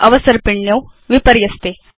अवसर्पिण्यौ विपर्यस्ते